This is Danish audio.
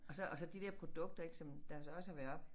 Og så og så de der produkter ik som der jo så også har været oppe